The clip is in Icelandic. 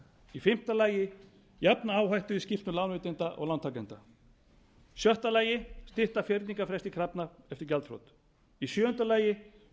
í fimmta lagi jafna áhættu í skxxx lánveitenda og lántakenda í sjötta lagi stytta fyrningarfresti krafna eftir gjaldþrot í sjöunda lagi